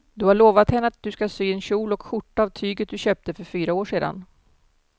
Du har lovat henne att du ska sy en kjol och skjorta av tyget du köpte för fyra år sedan.